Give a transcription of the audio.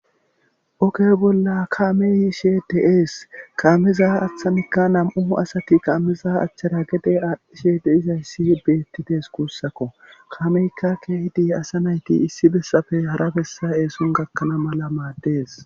oge bolla kaameyiishe deees kaameza aththanikka nam7u asati qaameza achchada gede aadhdhishe de izayssi beettides kuussakko kameykka keehidi asa nayti issi bessafe hara bessa eesun gakkana mala maaddees